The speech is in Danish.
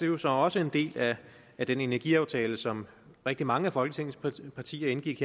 jo så også en del af den energiaftale som rigtig mange af folketingets partier partier indgik